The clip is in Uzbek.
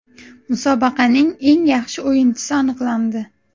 Musobaqaning eng yaxshi o‘yinchisi aniqlandi.